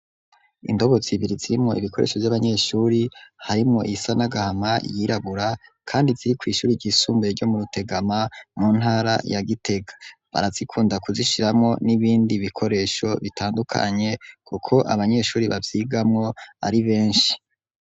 Indobo zibiri zirimwo ibikoresho vy'abanyeshure harimwo isanagahama yirabura kandi ziri ku ishuri ry'isumbuye ryo mu rutegama mu ntara ya gitega barazikunda kuzishiramo n'ibindi bikoresho bitandukanye kuko abanyeshuri babyigamo ari benshi.